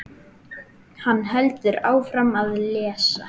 Hann heldur áfram að lesa